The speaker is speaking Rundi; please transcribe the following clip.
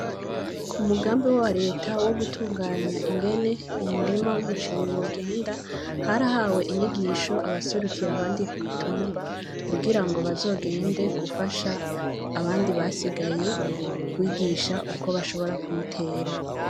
Ku mugambi wa reta wo gutunganya ingene umurima w'umuceri wogenda harahawe inyigisho abaserukira abandi ku mutumba kugirango bazogende gufasha abandi basigaye kwigisha uko bashobora kuyitera.